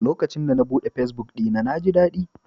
Lokacin da na buɗe fesbuk ɗina, na ji daɗi.